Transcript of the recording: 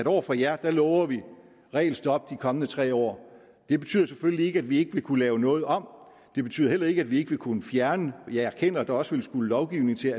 over for jer lover vi regelstop de kommende tre år det betyder selvfølgelig ikke at vi ikke vil kunne lave noget om det betyder heller ikke at vi ikke vil kunne fjerne nogle og jeg erkender at der også vil skulle lovgivning til